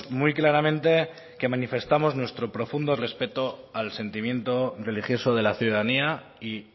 muy claramente que manifestamos nuestro profundo respeto al sentimiento religioso de la ciudadanía y